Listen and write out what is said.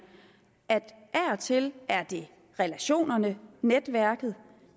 at det af og til er relationerne netværket